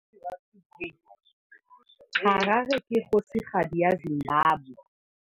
Harare ke kgosigadi ya Zimbabwe.